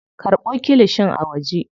Karɓo kilishin a waje.